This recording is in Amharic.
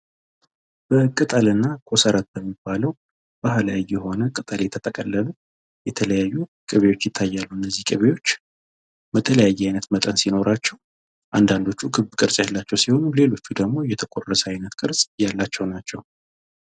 በቅጠል እና ኮሰረት በሚባለው ባህላዊ የሆነ ቅጠል የተጠቀለሉ የተለያዩ ቅቤዎች ይታያሉ ።እነዚህ ቅቤዎች በተለያየ አይነት መጠን ሲኖራቸው አንዳንዶቹ ክብ ቅርጽ ያላቸው ሲሆኑ ሌሎቹ ደግሞ የተቆረሰ አይነት ቅርፅ ያላቸው ናቸው ።